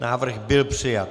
Návrh byl přijat.